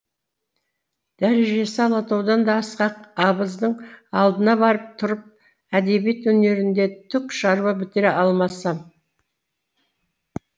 дәрежесі алатаудан да асқақ абыздың алдына барып тұрып әдебиет өнерінде түк шаруа бітіре алмасам